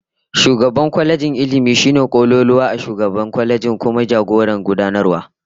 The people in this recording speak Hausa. Shugaban kwalejin Ilmi shine kololuwa a shugabannin kwalejin, kuma jagoran gudanarwa